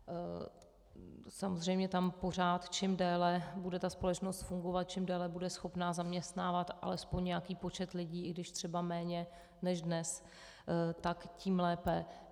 Samozřejmě tam pořád, čím déle bude ta společnost fungovat, čím déle bude schopna zaměstnávat alespoň nějaký počet lidí, i když třeba méně než dnes, tak tím lépe.